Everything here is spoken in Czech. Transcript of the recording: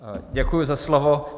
Děkuji za slovo.